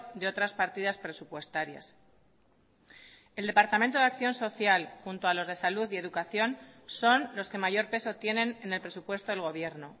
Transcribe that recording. de otras partidas presupuestarias el departamento de acción social junto a los de salud y educación son los que mayor peso tienen en el presupuesto del gobierno